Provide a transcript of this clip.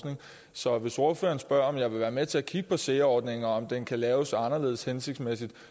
så hvis ordføreren spørger om jeg vil være med til at kigge på sea ordningen og om den kan laves anderledes hensigtsmæssig